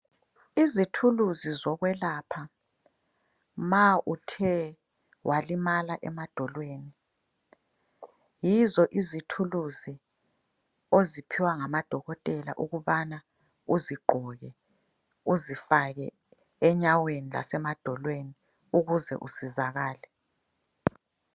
Izithuluzi zokwelapha ma uthe walimala emadolweni. Yizo izithuluzi oziphiwa ngama dokotela ukubana uzigqoke. Uzifake enyaweni lasemadolweni ukuze usizakale.